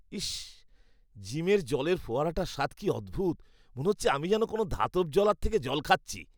ইস, জিমের জলের ফোয়ারাটার স্বাদ কী অদ্ভুত! মনে হচ্ছে আমি যেন কোনো ধাতব জলার থেকে জল খাচ্ছি!